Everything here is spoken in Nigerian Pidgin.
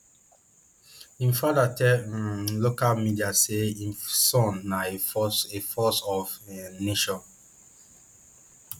im father tell um local media say im son na a force a force of um nature